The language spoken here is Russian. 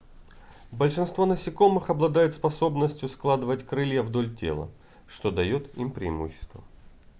большинство насекомых обладают способностью складывать крылья вдоль тела что дает им преимущество